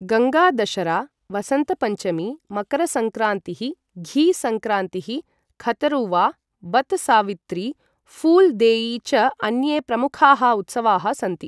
गङ्गा दशरा, वसन्तपञ्चमी, मकरसङ्क्रान्तिः, घी सङ्क्रान्तिः, खतरुवा, वत् सावित्री, फूल् देयी च अन्ये प्रमुखाः उत्सवाः सन्ति।